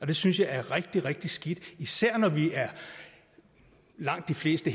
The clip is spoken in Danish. det synes jeg er rigtig rigtig skidt især når langt de fleste